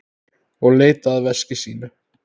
Og leitaði að veski sínu.